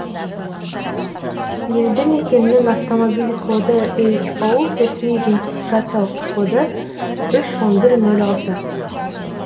елді мекеннің автомобиль коды но ресми идентификациялық коды үш он бір нол алты